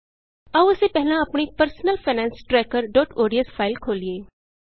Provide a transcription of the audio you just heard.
ਆਉ ਅਸੀਂ ਪਹਿਲਾਂ ਆਪਣੀ personal finance tracker ODS personal finance trackerਓਡੀਐਸ ਫਾਇਲ ਖੋਲ੍ਹੀਏ